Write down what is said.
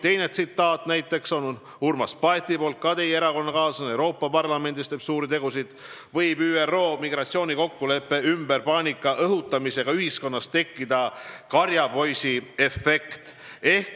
Teine tsitaat on Urmas Paetilt, ta on ka teie erakonnakaaslane, kes Euroopa Parlamendis teeb suuri tegusid: " võib ÜRO migratsioonikokkuleppe ümber paanika õhutamisega ühiskonnas tekkida karjapoisiefekt.